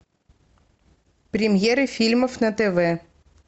премьеры фильмов на тв